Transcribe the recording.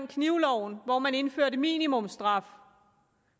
knivloven hvor man indførte minimumsstraf